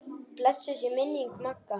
Blessuð sé minning Magga.